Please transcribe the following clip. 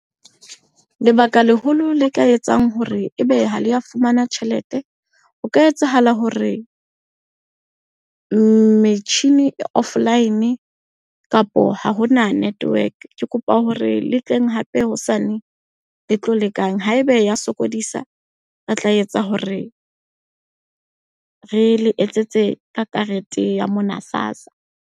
Lebaka leholo le ka etsang hore ebe ha le ya fumana tjhelete. O ka etsahala hore metjhini e offline kapo ha hona network. Ke kopa hore le tleng hape hosane le tlo lekang. Haeba ya sokodisa, re tla etsa hore re le etsetse ka karete ya mona SASSA.